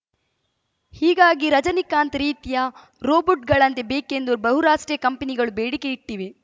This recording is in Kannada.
ಹೀಗಾಗಿ ರಜನೀಕಾಂತ್‌ ರೀತಿಯ ರೊಬೋಟ್‌ಗಳಂತೇ ಬೇಕೆಂದು ಬಹುರಾಷ್ಟ್ರೀಯ ಕಂಪನಿಗಳು ಬೇಡಿಕೆ ಇಟ್ಟಿವೆ